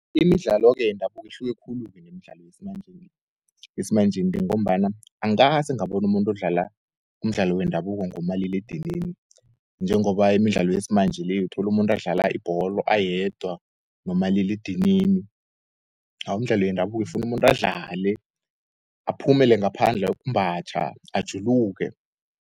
Imidlalo-ke yendabuko uhluke khulu nemidlalo yesimanjeni le, ngombana angaze ngabonu umuntu adlala umdlalo wendabuko ngomaliledinini, njengoba imidlalo yesimanje le, uyotholu umuntu adlala ibholo ayedwa nomaliledinini. Imidlalo yendabuko ifuna umuntu adlale, aphumele ngaphandle ayokumbatjha ajuluke.